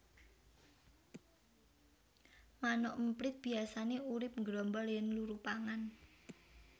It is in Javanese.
Manuk emprit biyasané urip nggrombol yèn luru pangan